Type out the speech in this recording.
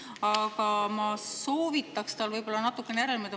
Aga ma soovitaks tal võib-olla natukene järele mõelda.